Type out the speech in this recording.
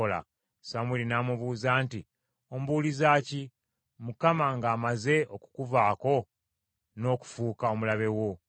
Samwiri n’amubuuza nti, “Ombuuliza ki, Mukama ng’amaze okukuvaako n’okufuuka omulabe wo?